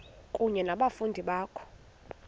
kunye nabafundi bakho